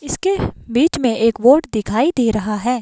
इसके बीच में एक बोर्ड दिखाई दे रहा है।